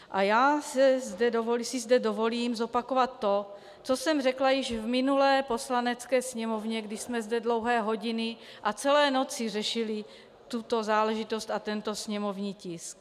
A já si zde dovolím zopakovat to, co jsem řekla již v minulé Poslanecké sněmovně, když jsme zde dlouhé hodiny a celé noci řešili tuto záležitost a tento sněmovní tisk.